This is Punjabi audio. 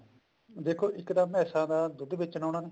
ਦੇਖੋ ਇੱਕ ਤਾਂ ਮੈਸਾਂ ਦਾ ਦੁੱਧ ਵੇਚਣਾ ਉਹਨੇ